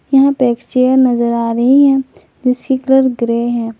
यहां पे एक चेयर नजर आ रही है जिसकी कलर ग्रे हैं।